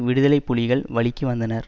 விடுதலை புலிகள் வழிக்கு வந்ததனர்